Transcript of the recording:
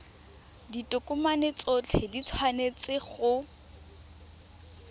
ditokomane tsotlhe di tshwanetse go